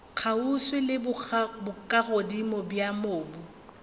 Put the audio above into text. kgauswi le bokagodimo bja mobu